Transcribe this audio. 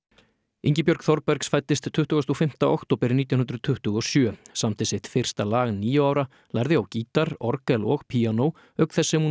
Ingibjörg Þorbergs fæddist tuttugasta og fimmta október nítján hundruð tuttugu og sjö samdi sitt fyrsta lag níu ára lærði á gítar orgel og píanó auk þess sem hún